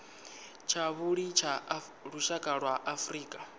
tshavhuḓi tsha lushaka lwa afrika